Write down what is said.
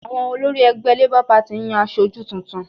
Àwọn olórí ẹgbẹ́ LABOUR PARTY ń yan aṣojú tuntun